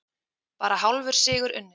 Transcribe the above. Bara hálfur sigur unninn